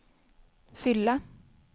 fylla